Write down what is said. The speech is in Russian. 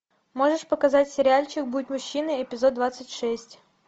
можешь показать сериальчик будь мужчиной эпизод двадцать шесть